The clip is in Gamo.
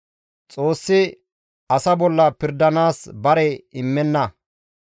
Xoossi asa bolla pirdanaas bare immenna.